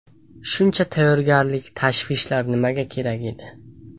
Shuncha tayyorgarlik, tashvishlar nimaga kerak edi?